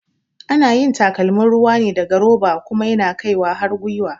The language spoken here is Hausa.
Ana yin takalmin ruwa ne daga roba kuma yana kai har gyiwa